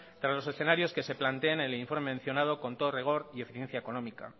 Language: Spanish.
tras los escenarios que se planteen en el informe mencionado con todo rigor y eficiencia económica